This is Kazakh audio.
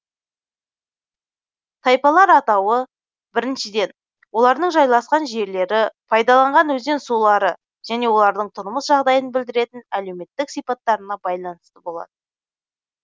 тайпалар атауы біріншіден олардың жайласқан жерлері пайдаланған өзен сулары және олардың тұрмыс жағдайын білдіретін әлеуметтік сипаттарына байланысты болады